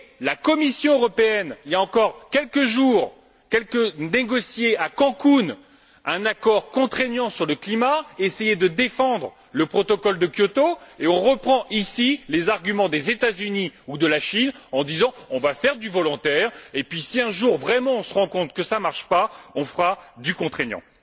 La Commission européenne a, il y a encore quelques jours, négocié à Cancún un accord contraignant sur le climat, a essayé de défendre le protocole de Kyoto, et on reprend ici les arguments des États Unis ou de la Chine en disant on va faire du volontaire et puis si un jour vraiment, on se rend compte que ça ne marche pas, on fera du contraignant.